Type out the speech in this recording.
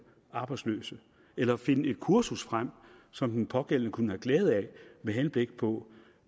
arbejdsløse eller finde et kursus frem som den pågældende kunne have glæde af med henblik på